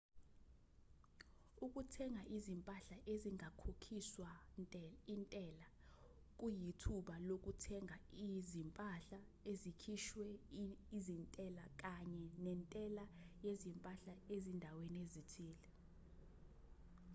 ukuthenga izimpahla ezingakhokhiswa intela kuyithuba lokuthenga izimpahla ezikhishwe izintela kanye nentela yezimpahla ezindaweni ezithile